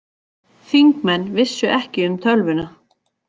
Þingmenn vissu ekki um tölvuna